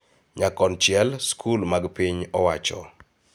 Nyakonchiel, skul mag piny owachoo�